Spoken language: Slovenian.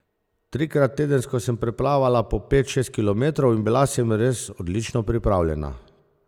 Trikrat tedensko sem preplavala po pet, šest kilometrov in bila sem res odlično pripravljena.